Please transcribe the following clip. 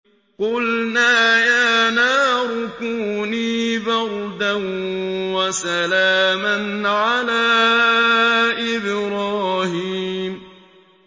قُلْنَا يَا نَارُ كُونِي بَرْدًا وَسَلَامًا عَلَىٰ إِبْرَاهِيمَ